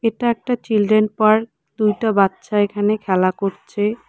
এটা একটা children park দুটো বাচ্চা এখানে খেলা করছে।